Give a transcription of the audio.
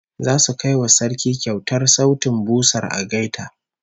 Zasu kai wa Sarki kyautar sautin busar algaita